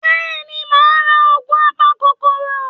Bẹ́ẹ̀ni, màá ra Ògùn a-pa-kòkoòrò